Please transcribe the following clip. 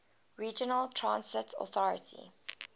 regional transit authority